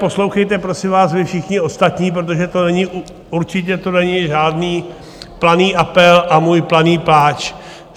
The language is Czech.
Poslouchejte, prosím vás, vy všichni ostatní, protože to určitě není žádný planý apel a můj planý pláč.